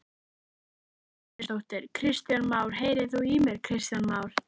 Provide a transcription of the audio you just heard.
Edda Andrésdóttir: Kristján Már, heyrir þú í mér Kristján Már?